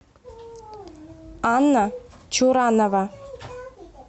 анна чуранова